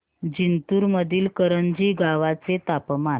जिंतूर मधील करंजी गावाचे तापमान